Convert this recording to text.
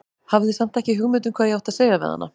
Hafði samt ekki hugmynd um hvað ég átti að segja við hana.